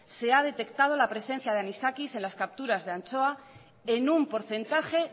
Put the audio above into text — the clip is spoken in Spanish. se ha detectado la presencia de anisakis en las capturas de anchoa en un porcentaje